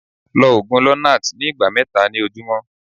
lọ ogun lonart ní igba mẹta ni ojumọ